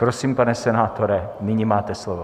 Prosím, pane senátore, nyní máte slovo.